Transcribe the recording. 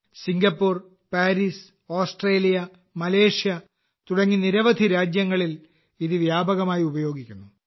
Singapore Paris Australia Malaysia തുടങ്ങി നിരവധി രാജ്യങ്ങളിൽ ഇത് വ്യാപകമായി ഉപയോഗിക്കുന്നു